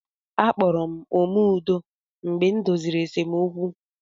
A kpọrọ m "Ome Udo" mgbe m doziri esemokwu.